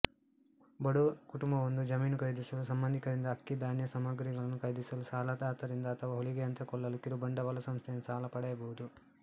ಬಡ ಕುಟುಂಬವೊಂದು ಜಮೀನು ಖರೀದಿಸಲು ಸಂಬಂಧಿಕರಿಂದ ಅಕ್ಕಿಧಾನ್ಯಸಾಮಗ್ರಿಗಳನ್ನು ಖರೀದಿಸಲು ಸಾಲದಾತರಿಂದ ಅಥವಾ ಹೊಲಿಗೆಯಂತ್ರ ಕೊಳ್ಳಲು ಕಿರುಬಂಡವಾಳ ಸಂಸ್ಥೆಯಿಂದ ಸಾಲ ಪಡೆಯಬಹುದು